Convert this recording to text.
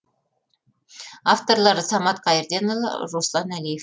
авторлары самат қайырденұлы руслан әлиев